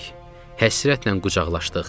Həsrətlə qucaqlaşdıq.